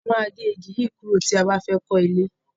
A máa gé igi yìí kúrò tí a bá fẹ́ kọ́ ilé.